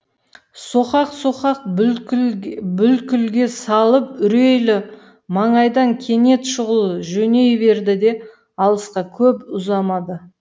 соқақ соқақ бүлкілге салып үрейлі маңайдан кенет шұғыл жөней берді де алысқа көп ұзамады